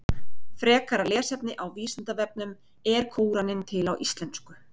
Frekara lesefni á Vísindavefnum Er Kóraninn til á íslensku?